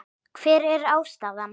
Hver er ástæðan?